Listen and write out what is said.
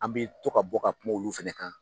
An bɛ to ka bɔ ka kuma olu fɛnɛ kan